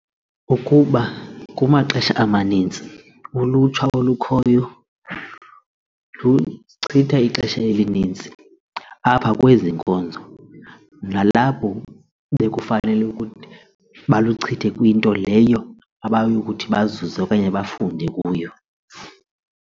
Ukuba kumaxesha amanintsi ulutsha olukhoyo luchitha ixesha elinintsi apha kwezi nkonzo nalapho bekufanele ukuthi baluchithe kwinto leyo abayokuthi bazuze okanye bafunde kuyo.